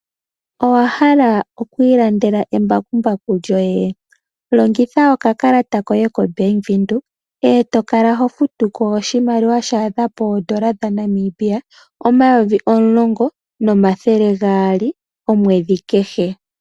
Owa hala oku ilandela embakumbaku lyoye? Longitha oka kalata koye koBank Windhoek, e to kala ho futu ko oshimaliwa sha adha N$ 10 200 omwedhi kehe.